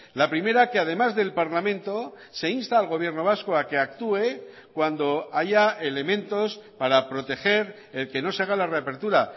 la primera que además del parlamento se insta al gobierno vasco a que actúe cuando haya elementos para proteger el que no se haga la reapertura